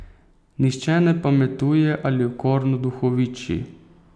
Nihče ne pametuje ali okorno duhoviči.